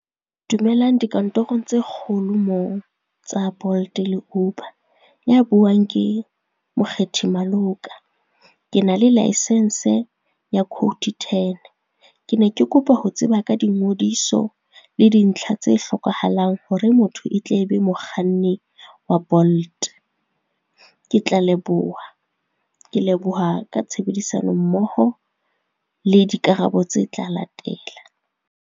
Dumelang dikantorong tse kgolo moo tsa Bolt le Uber, ya buang ke Mokgethi Maloka. Ke na le laesense ya code ten, ke ne ke kopa ho tseba ka dingodiso le dintlha tse hlokahalang hore motho e tle be mokganni wa Bolt. Ke tla leboha, ke leboha ka tshebedisano mmoho le dikarabo tse tla latela.